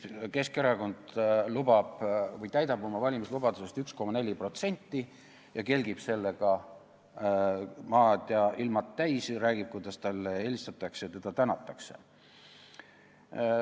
Keskerakond täidab oma valimislubadusest 1,4% ning kelgib sellega maad ja ilmad täis, räägib, kuidas talle helistatakse ja teda tänatakse.